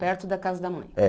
Perto da casa da mãe? É